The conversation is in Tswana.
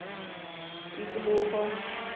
tikologo